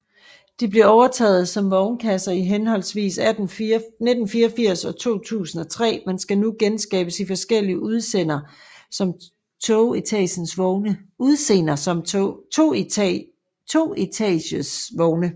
De blev overtaget som vognkasser i henholdsvis 1984 og 2003 men skal nu genskabes i forskellige udseender som toetages vogne